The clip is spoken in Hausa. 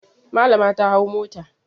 Malama ta hau mota.